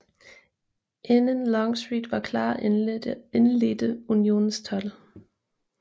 Inden Longstreet var klar indledte Unionens 12